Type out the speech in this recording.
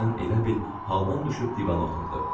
Birdən elə bil haldan düşüb divana oturdu.